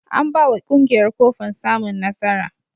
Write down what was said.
An ba wa ƙungiyar kofin samun nasara.